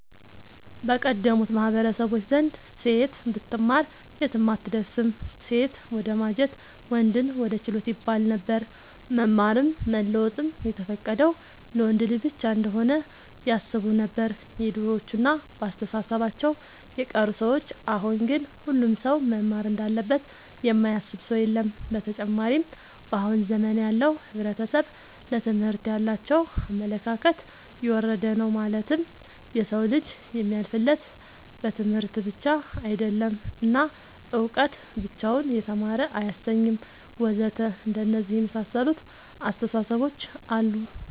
በቀደሙት ማህበረሰቦች ዘንድ ሴት ብትማር የትም አትደርስም ሴትን ወደማጀት ወንድን ወደ ችሎት ይባለነበር። መማርም መለወጥም የተፈቀደው ለወንድ ልጅ ብቻ እንሆነ ያስቡነበር የድሮዎቹ እና በአስተሳሰባቸው የቀሩ ሰዎች አሁን ግን ሁሉም ሰው መማር እንዳለበት የማያስብ ሰው የለም። ብተጨማርም በአሁን ዘመን ያለው ሕብረተሰብ ለትምህርት ያላቸው አመለካከት የወረደ ነው ማለትም የሰው ልጅ የሚያልፍለት በትምህርት ብቻ አይደለም እና እውቀት ብቻውን የተማረ አያሰኝም ወዘተ አንደነዚህ የመሳሰሉት አስታሳሰቦች አሉ